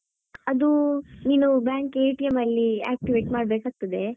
ಅದು ನೀನು bank ಅಲ್ಲಿ activate ಮಾಡ್ಬೇಕಾಗ್ತದೆ.